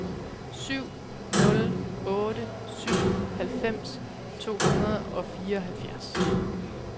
syv nul otte syv halvfems to hundrede og fireoghalvfjerds